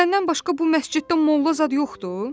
Səndən başqa bu məsciddə molla zad yoxdur?